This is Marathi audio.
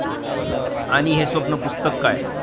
आणि हे स्वप्न पुस्तक काय?